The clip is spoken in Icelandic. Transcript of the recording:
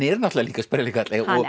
náttúrulega líka sprellikarl